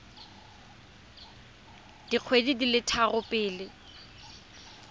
dikgwedi di le tharo pele